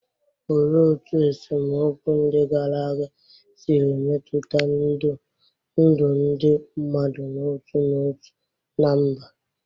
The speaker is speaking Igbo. Olee otú esemokwu ndị gara aga siri metụta ndụ ndị mmadụ n'otu n'otu na mba?